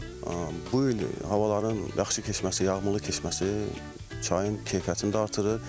Bu il havaların yaxşı keçməsi, yağmurlu keçməsi çayın keyfiyyətini də artırır.